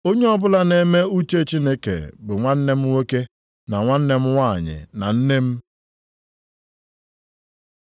Onye ọbụla na-eme uche Chineke bụ nwanne m nwoke, na nwanne m nwanyị, na nne m.”